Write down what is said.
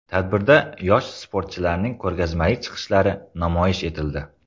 Tadbirda yosh sportchilarning ko‘rgazmali chiqishlari namoyish etildi.